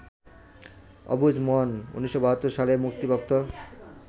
অবুঝ মন ১৯৭২ সালে মুক্তিপ্রাপ্ত